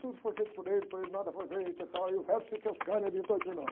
Tudo foi feito por ele, por ele nada foi feito e tal, e o verbo se fez carne e habitou entre nós.